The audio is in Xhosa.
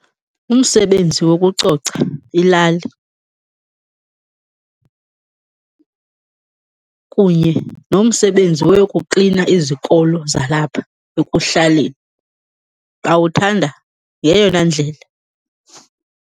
Umsebenzi wokucoca ilali kunye nomsebenzi woyokuklina izikolo zalapha ekuhlaleni bawuthanda ngeyona ndlela.